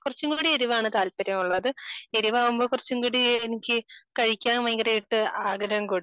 കുറച്ചും കൂടി എരിവ് ആണ് താല്പര്യം ഉള്ളത് എരിവ് ആവുമ്പൊ കുറച്ചുംകൂടി എനിക്ക് ആഗ്രഹം കൂടും